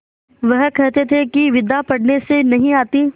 वह कहते थे कि विद्या पढ़ने से नहीं आती